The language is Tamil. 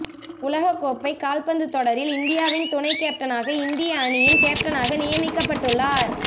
உலகக் கோப்பை கால்பந்து தொடரில் இந்தியாவின் துணை கேப்டனாக இந்திய அணியின் கேப்டனாக நியமிக்கப்பட்டுள்ளார்